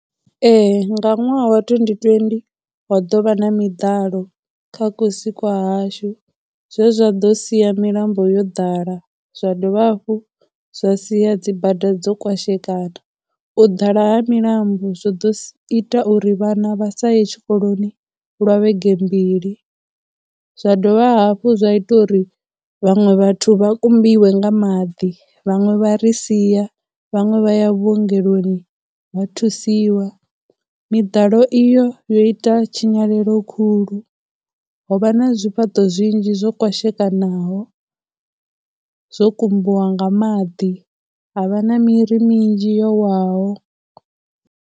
Ee, nga ṅwaha wa twenty twenty ho ḓovha na miḓalo kha kusi kwa hashu zwe zwa ḓo sia milambo yo ḓala, zwa dovha hafhu zwa sia dzi bada dzo kwashekana, u ḓala ha milambo zwo ḓo ita uri vhana vha sa ye tshikoloni lwa vhege mbili, zwa dovha hafhu zwa ita uri vhaṅwe vhathu vha kumbiwe nga maḓi, vhaṅwe vha ri sia, vhaṅwe vha ya vhuongeloni vha thusiwa. Miḓalo iyo yo ita tshinyalelo khulu, ho vha na zwifhaṱo zwinzhi zwo kwashekanaho zwo kumbiwa nga maḓi, ha vha na miri minzhi yo waho.